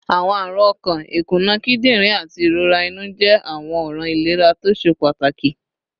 Awọn arun ọkan, ikuna kidirin, ati irora inu jẹ awọn ọran ilera to ṣe pataki